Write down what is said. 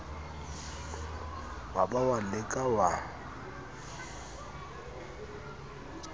wa ba wa leka wa